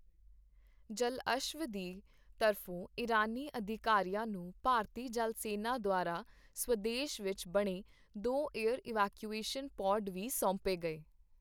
ਜਲਅਸ਼ਵ ਦੀ ਤਰਫੋਂ ਇਰਾਨੀ ਅਧਿਕਾਰੀਆਂ ਨੂੰ ਭਾਰਤੀ ਜਲ ਸੈਨਾ ਦੁਆਰਾ ਸਵਦੇਸ਼ ਵਿੱਚ ਬਣੇ ਦੋ ਏਅਰ ਇਵੈਕੀਊਏਸ਼ਨ ਪੌਡ ਵੀ ਸੌਂਪੇ ਗਏ।